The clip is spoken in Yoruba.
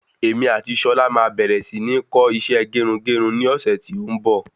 Èmi ati Ṣọlá máa bẹ̀rẹ̀ si ni kọ́ isẹ́ gerugeru ní ọ̀sẹ̀ tí ó ń bọ̀